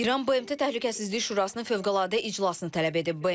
İran BMT Təhlükəsizlik Şurasının fövqəladə iclasını tələb edib.